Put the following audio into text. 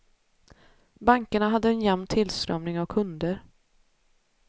Bankerna hade en jämn tillströmning av kunder.